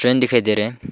Train दिखाई दे रहे हैं।